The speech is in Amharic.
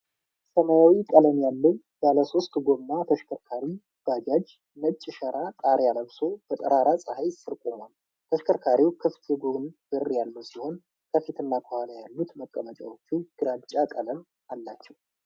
ሰማያዊ ቀለም ያለው ባለሶስት ጎማ ተሽከርካሪ (ባጃጅ) ነጭ ሸራ ጣሪያ ለብሶ በጠራራ ፀሐይ ስር ቆሟል። ተሽከርካሪው ክፍት የጎን በር ያለው ሲሆን ከፊትና ከኋላ ያሉት መቀመጫዎቹ ግራጫ ቀለም አላቸው።